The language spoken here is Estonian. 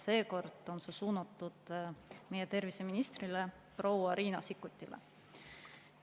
Seekord on see suunatud meie terviseministrile proua Riina Sikkutile.